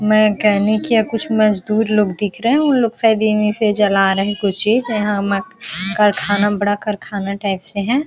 Mechanic या कुछ मजदुर लोग दिख रहे है उ लोग शायद जला रहे है कुछ चीज यहाँ मक करखाना बड़ा कारखाना टाइप से है।